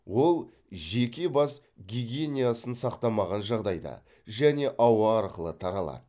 ол жеке бас гигиниясын сақтамаған жағдайда және ауа арқылы таралады